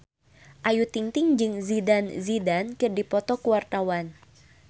Ayu Ting-ting jeung Zidane Zidane keur dipoto ku wartawan